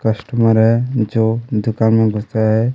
Customer हैं जो दुकान में बसा हैं।